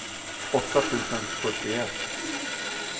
åtta tusen fyrtioett